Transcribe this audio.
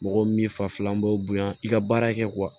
Mɔgɔ min fafa b'o bonya i ka baara kɛ